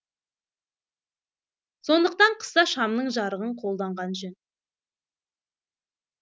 сондықтан қыста шамның жарығын қолданған жөн